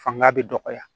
Fanga bɛ dɔgɔya